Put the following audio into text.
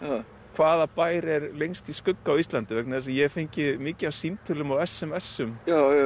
hvaða bær er lengst í skugga á Íslandi vegna þess að ég hef fengið mikið af símtölum og s m s um